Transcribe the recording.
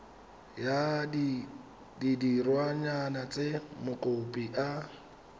ya ditirwana tse mokopi a